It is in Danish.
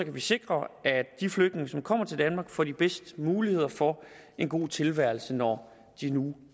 vi sikre at de flygtninge som kommer til danmark får de bedste muligheder for en god tilværelse når de nu